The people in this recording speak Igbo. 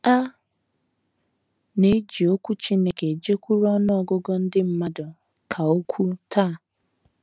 “ A na - eji Okwu Chineke ejekwuru ọnụ ọgụgụ ndị mmadụ ka ukwuu taa. ”